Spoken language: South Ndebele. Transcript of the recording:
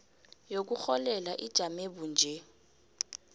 yokurholela ijame bunje